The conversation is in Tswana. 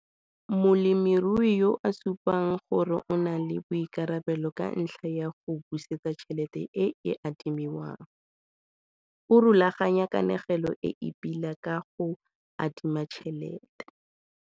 Molemirui yo a supang gore o na le boikarabelo ka ntlha ya go busetsa tšhelete e e adimiwang, o rulaganya kanego e e pila ya go adima tšhelete.